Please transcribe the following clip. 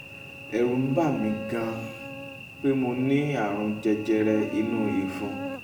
ẹ̀rù ń bà mí um gan-an pé mo ní ààrùn jẹjẹrẹ inú um ìfun